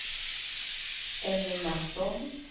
Emmy Matsson